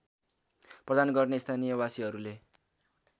प्रदान गर्ने स्थानीयवासीहरूले